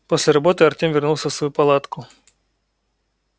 после работы артем вернулся в свою палатку